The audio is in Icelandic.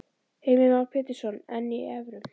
Heimir Már Pétursson: En í evrum?